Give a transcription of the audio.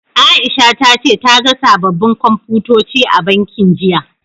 Aisha ta ce ta ga sababbin Komfutoci a bankin, jiya.